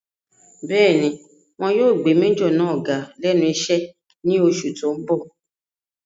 Bẹ́ẹ̀ni, wọn yóò gbé májọ̀ náà ga lẹ́nu iṣẹ́ ní oṣù tó n bọ̀